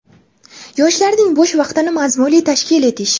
Yoshlarning bo‘sh vaqtini mazmunli tashkil etish.